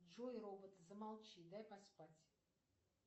джой робот замолчи дай поспать